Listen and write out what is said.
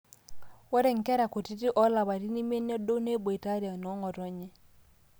inkera kutitik oolapaitin imiet nedou neboitare noong'otonye